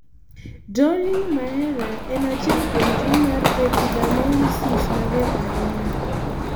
Dowling Meara en achiel kuom tuo mar epidermolysis mager ahinya